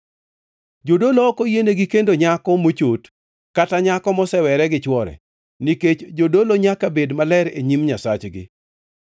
“ ‘Jodolo ok oyienegi kendo nyako mochot kata nyako mosewere gi chwore, nikech jodolo nyaka bed maler e nyim Nyasachgi.